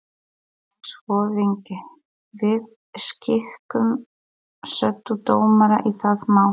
LANDSHÖFÐINGI: Við skikkum setudómara í það mál.